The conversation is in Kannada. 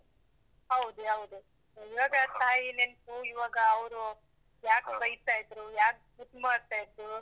ಹೌದು, ಹೌದು. ಇವಾಗ ತಾಯಿ ನೆನ್ಪು ಇವಾಗ ಅವ್ರು. ಯಾಕ್ ಬೈತಾ ಇದ್ರು, ಯಾಕ್ ಮುದ್ದ್ ಮಾಡ್ತಾ ಇದ್ರೂ.